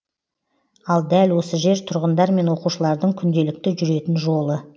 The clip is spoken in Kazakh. ал дәл осы жер тұрғындар мен оқушылардың күнделікті жүретін жолы